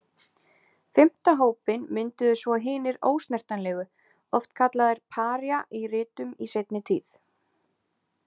Fimmta hópinn mynduðu svo hinir ósnertanlegu, oft kallaðir Paría í ritum í seinni tíð.